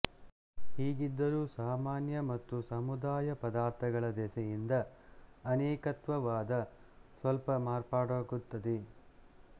ಹೀಗಿದ್ದರೂ ಸಾಮಾನ್ಯ ಮತ್ತು ಸಮುದಾಯ ಪದಾರ್ಥಗಳ ದೆಸೆಯಿಂದ ಅನೇಕತ್ವವಾದ ಸ್ವಲ್ಪ ಮಾರ್ಪಾಡಾಗುತ್ತದೆ